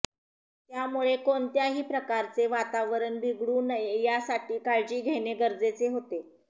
त्यामुळे कोणत्याही प्रकारचे वातावरण बिघडू नये यासाठी काळजी घेणे गरजेचे होते